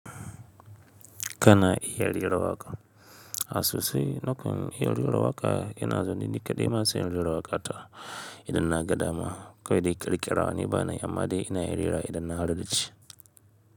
Kana iya rera waƙa. A sosai nakan iya rera waƙa ina zaune ni kaɗai ma sai in rera waƙa ta idan na ga dama kawai dai ƙirƙira ba na yi amma dai ina iya rera wa idan na harda ce.